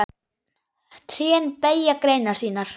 Trén beygja greinar sínar.